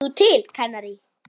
Þú til Kanarí?